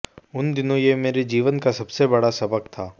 उन दिनों ये मेरे जीवन का सबसे बड़ा सबक़ था